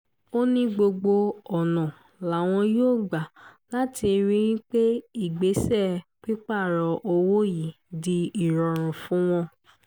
ó ní gbogbo ọ̀nà làwọn yóò gbà láti rí i pé ìgbésẹ̀ pípààrọ̀ owó yìí di ìrọ̀rùn fún wọn